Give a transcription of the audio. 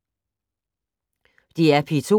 DR P2